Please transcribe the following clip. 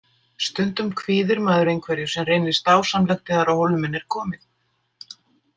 Stundum kvíðir maður einhverju sem reynist dásamlegt þegar á hólminn er komið.